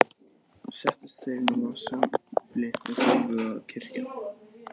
Settust þeir nú að sumbli og hófu að kyrja